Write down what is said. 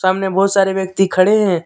सामने बहुत सारे व्यक्ति खड़े हैं।